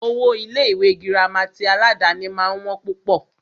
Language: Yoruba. Owó Ilé ìwé gírámà tí aládàni máà ń wọ́n púpọ̀.